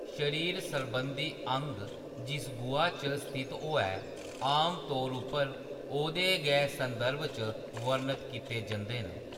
शरीर सरबंधी अंग जिस गुहा च स्थित होऐ, आमतौर उप्पर ओह्दे गै संदर्भ च वर्णत कीते जंदे न।